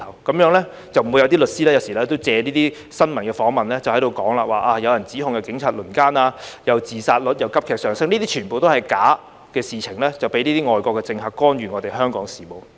這樣就不會有律師借新聞訪問時說有人指控警察輪姦、自殺率急劇上升，這些全部都是假的，被外國政客藉以干預香港事務。